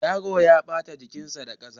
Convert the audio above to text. Yaron ya ɓata jikinsa da ƙasa.